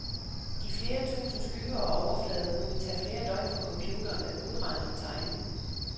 De flere tusind skygger og overflader kunne tage flere døgn for computeren at udregne og tegne.